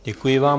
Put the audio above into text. Děkuji vám.